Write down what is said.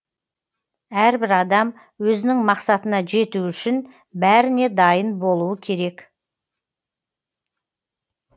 әрбір адам өзінің мақсатына жету үшін бәріне дайын болуы керек